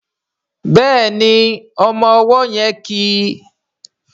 Béèni ọmọ ọwó yén kí.